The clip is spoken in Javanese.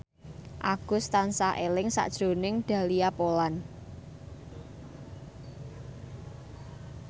Agus tansah eling sakjroning Dahlia Poland